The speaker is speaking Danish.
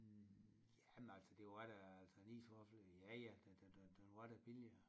Jamen altså det var da altså en isvaffel ja ja den den den var da billigere